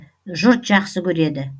жұрт жақсы көреді